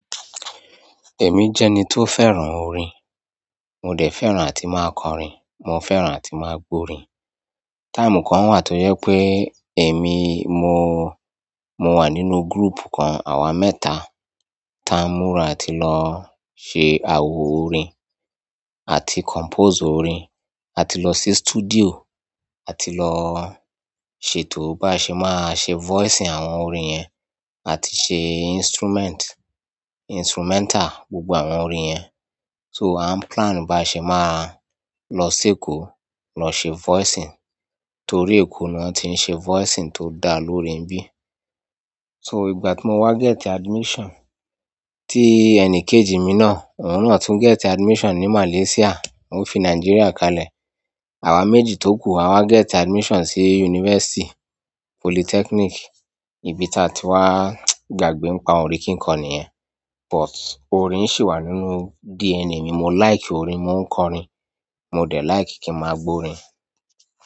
Èmi jẹ́ ẹni tó fẹ́ràn orin. Mo dẹ̀ fẹ́ràn àti máa kọ́rin, mo fẹ́ràn àti máa gbo orin. Time kan wà tó jẹ pé èmi mo, mo wà nínú group kan, àwa mẹ́ta, ti a múra àti lọ ṣe awọ orin, àti compose orin, àti lọ sí studio, àti lọ ṣètò bá ṣe máa ṣe voicing àwọn orin yẹn, àti ṣe instrument, instrumental gbogbo àwọn orin yẹn. So a n plan bi á ṣe máa lọ si Èkó, lọ ṣe voicing, torí Èkó ni wọ́n ti ń ṣe voicing tó dá lóorin níbi. So ìgbà tí mo wá get admission, tí ẹnì kejì mi náà, òun náà tún get admission ní. Malaysia, ó fi Nigeria kalẹ̀. Àwa méjì tó ku, àwa get admission sí university, polytechnic, ibi tí a ti wá gbàgbé ń pa orin kí kọ níyẹn. But orin sì wà nínú DNA mi, mo like orin, mo ń kọrin, mo dẹ̀ like kí n máa gbo orin.